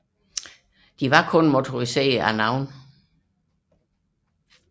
De var kun motoriserede af navn